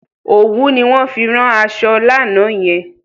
Òwú ni wọ́n fi rán aṣọ lánàá yen.